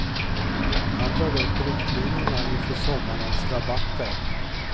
Han drar upp riktlinjerna inför sommarens rabatter.